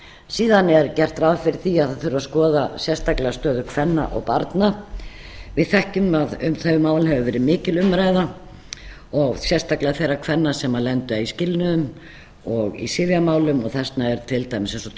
síðan er gert ráð fyrir því að það þurfi að skoða sérstaklega stöðu kvenna og barna við þekkjum að um þau mál hefur verið mikil umræða sérstaklega þeirra kvenna sem lenda í skilnuðum og í sifjamálum og þess vegna er til dæmis eins og